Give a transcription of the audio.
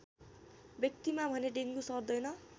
व्यक्तिमा भने डेङ्गु सर्दैन